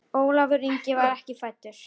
Ólafur Ingi var ekki fæddur.